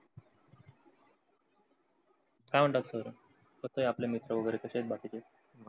काय म्हणतात? sir कसे आहेत? आपले मित्र वगेरे कसे आहे? बाकीचे